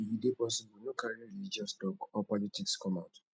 if e dey possible no carry religious talk or politics come out